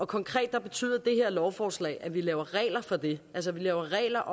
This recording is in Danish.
konkret betyder det her lovforslag at vi laver regler for det altså at vi laver regler